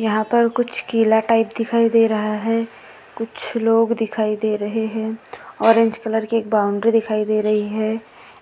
यहाँ पर कुछ किला टाइप दिखाई दे रहा है कुछ लोग दिखाई दे रहे है ऑरेंज कलर की एक बाउंडरी दिखाई दे रही है